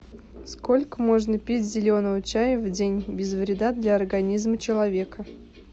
сколько можно пить зеленого чая в день без вреда для организма человека